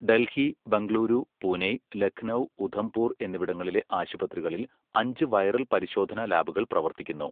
ഡൽഹി, ബംഗളൂരു, പുനെ, ലഖ്നൗ, ഉധംപുർ എന്നിവിടങ്ങളിലെ ആശുപത്രികളിൽ അഞ്ച് വൈറൽ പരിശോധന ലാബുകൾ പ്രവർത്തിക്കുന്നു.